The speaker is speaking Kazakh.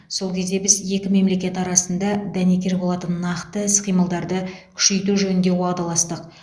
сол кезде біз екі мемлекет арасында дәнекер болатын нақты іс қимылдарды күшейту жөнінде уағдаластық